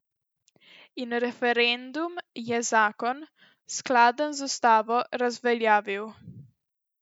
In referendum je zakon, skladen z ustavo, razveljavil.